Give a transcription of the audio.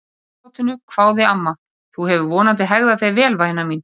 Kappátinu hváði amma, þú hefur vonandi hegðað þér vel væna mín?